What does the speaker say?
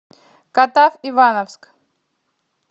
катав ивановск